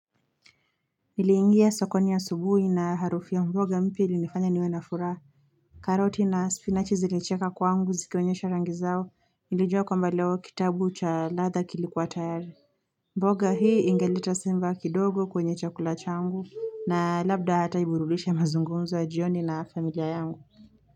Niliingia sokoni asubuhi na harufi ya mboga mpya ilinifanya niwe na furaha karoti na spinachi zilicheka kwangu ziki onyesha rangi zao Nilijua kwamba leo kitabu cha latha kilikuwa tayari mboga hii engeleta sifa kidogo kwenye chakula changu na labda hata hurudisha mazungunzo ya jioni na familia yangu.